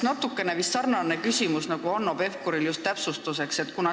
Minul on natuke sarnane küsimus, nagu oli Hanno Pevkuril, just täpsustuse mõttes.